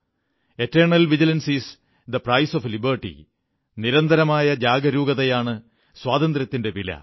eternal vigilance is the price of liberty നിരന്തരമായ ജാഗരൂകതയാണ് സ്വാതന്ത്ര്യത്തിന്റെ വില